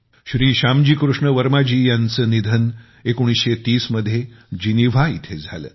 श्री श्यामजी कृष्ण वर्मा जी यांचे निधन 1930 मध्ये जिनिव्हा इथे झाले